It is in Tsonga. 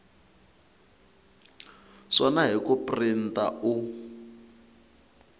swona hi ku printa u